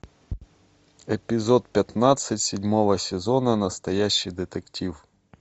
эпизод пятнадцать седьмого сезона настоящий детектив